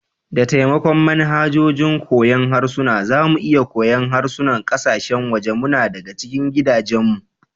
Da taimakon manhajojin koyon harsuna, za mu iya koyon harsunan kasashen waje muna daga cikin gidajenmu.